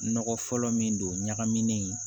Nɔgɔ fɔlɔ min don ɲagamilen ye